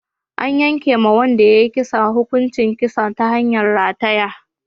An yanke wa wanda ya yi kisan hukuncin kisa ta hanyar rataya.